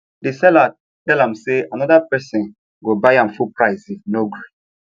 the seller tell am say another person go buy am full price if you no gree